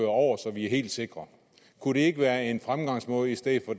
over så vi er helt sikre kunne det ikke være en fremgangsmåde i stedet for